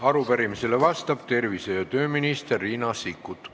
Arupärimisele vastab tervise- ja tööminister Riina Sikkut.